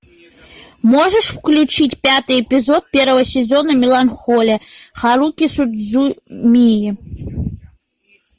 можешь включить пятый эпизод первого сезона меланхолия харуки судзумии